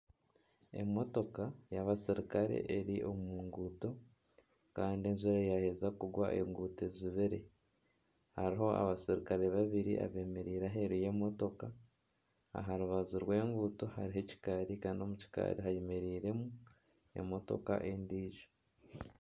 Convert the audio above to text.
Emotoka y'abaserukare eri omu nguuto kandi enjura yaaheza kugwa enguuto ejubire. Hariho abaserukre babiri abemereire aheeru y'emotoka. Aha rubaju rw'enguuto hariho ekikaari kandi omu kikaari hemereiremu emotoka endiijo.